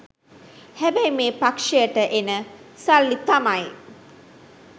හැබැයි මේ පක්ෂයට එන සල්ලි තමයි